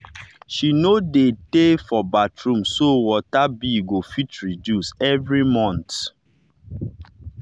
she no dey tey for bathroom so water bill go fit reduce every month.